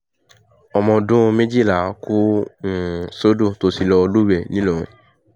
ọmọ ọdún méjìlá kù um sódò tó ti lọ́ọ́ lúwẹ̀ẹ́ ńìlọrin